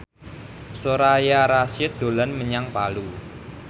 Soraya Rasyid dolan menyang Palu